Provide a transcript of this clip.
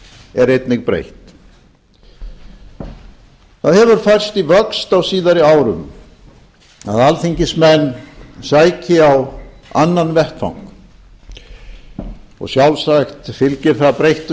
er einnig breytt það hefur færst í vöxt á síðari árum að alþingismenn sæki á annan vettvang og sjálfsagt fylgir það breyttum